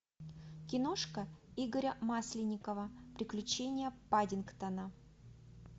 киношка игоря масленникова приключения паддингтона